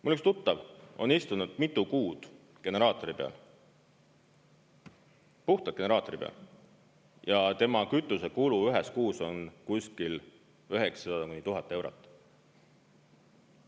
Mul üks tuttav on istunud mitu kuud generaatori peal, puhtalt generaatori peal, ja tema kütusekulu ühes kuus on kuskil 900–1000 eurot.